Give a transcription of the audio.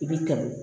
I b'i tɛmɛ